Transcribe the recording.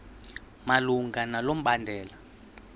malunga nalo mbandela